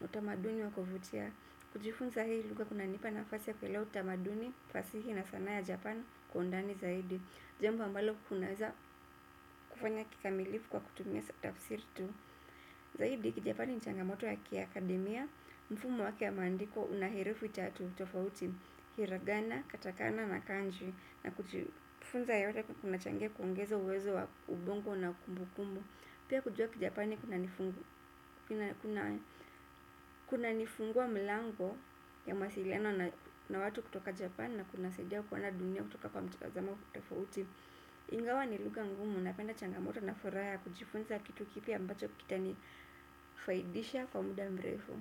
na utamaduni wa kuvutia. Kujifunza hii lugha kunanipa nafasi ya kuelewa utamaduni, fasihi na sanaa ya japan kwa undani zaidi. Jambo ambalo kunaeza kufanya kikamilifu kwa kutumia tafsiri tu. Zaidi, Kijapani ni changamoto ya kiakademia, mfumo wake ya maandiko unaherufi tatu tofauti, hiragana, katakana na kanji. Na kujifunza yote kunachangia kuongeza uwezo wa ubongo na kumbukumbu pia kujua Kijapani kunanifungu kuna nifungua mlango ya masiliano na watu kutoka Japan na kuna saidia kuona dunia kutoka kwa mtazamo tofauti. Ingawa ni lugha ngumu napenda changamoto na furaha ya kujifunza kitu kipya ambacho kita nifaidisha kwa muda mrefu.